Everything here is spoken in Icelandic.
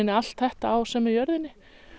allt þetta á sömu jörðinni